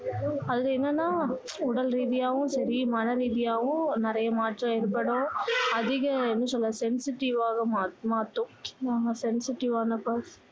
அது ஏன்னன்னா உடல் ரீதியாவும் சரி மன ரீதியாவும் நிறைய மாற்றம் ஏற்படும் அதிக என்ன சொல்ல sensitive வாக மாத்தும் நம்ம sensitive வான